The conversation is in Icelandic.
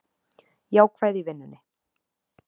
Jákvæð í vinnunni